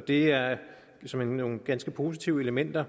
det er såmænd nogle ganske positive elementer